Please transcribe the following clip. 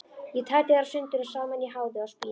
Ég tæti þær sundur og saman í háði og spéi.